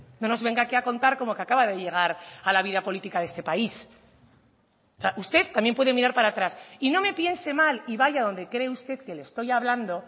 no nos venga aquí a contar como que acaba de llegar a la vida política de este país usted también puede mirar para atrás y no me piense mal y vaya donde cree usted que le estoy hablando